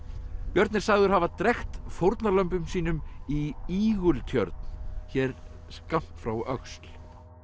björn er sagður hafa drekkt fórnarlömbum sínum í Ígultjörn hér skammt frá öxl